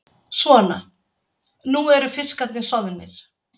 Svona, nú eru fiskarnir soðnir.